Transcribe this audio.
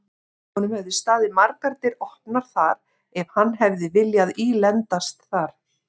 Honum hefðu staðið margar dyr opnar þar ef hann hefði viljað ílendast þar.